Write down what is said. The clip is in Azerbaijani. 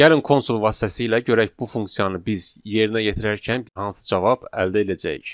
Gəlin konsul vasitəsilə görək bu funksiyanı biz yerinə yetirərkən hansı cavab əldə eləyəcəyik.